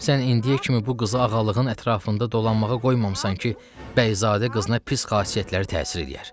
Sən indiyə kimi bu qızı ağalığın ətrafında dolanmağa qoymamısan ki, Bəyzadə qızına pis xasiyyətləri təsir eləyər.